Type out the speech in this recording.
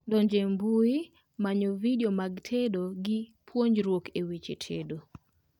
Donjo e mbui, manyo vidio mag tedo gi puonjruok e weche tedo